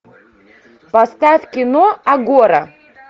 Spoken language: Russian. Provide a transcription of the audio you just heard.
поставь кино агора